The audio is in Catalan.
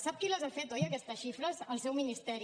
sap qui les ha fetes oi aquestes xi·fres el seu ministeri